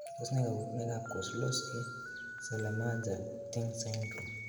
Tos nee koborunoikab Kozlowski Celermajer Tink syndrome.